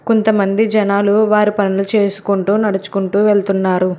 కొంతమంది జనాలు వారి పనులు చేసుకుంటూ నడుచుకుంటూ వెళ్తున్నారు.